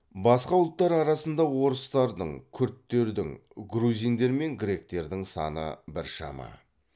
басқа ұлттар арасында орыстардың күрдтердің грузиндер мен гректердің саны біршама